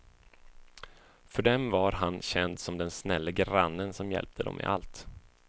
För dem var han känd som den snälle grannen som hjälpte dem med allt.